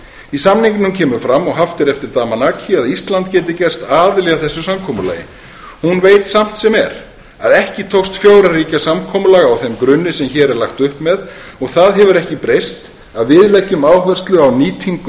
í samningnum kemur fram og haft er eftir damanaki að ísland geti gerst aðili að þessu samkomulagi hún veit samt sem er að ekki tókst fjögurra ríkja samkomulag á þeim grunni sem hér er lagt upp með og það hefur ekki breyst að við leggjum áherslu á nýtingu